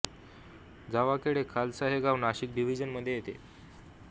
जावाखेडे खालसा हे गाव नाशिक डिव्हीजन मधे येते